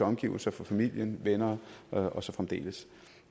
omgivelserne for familien venner og så fremdeles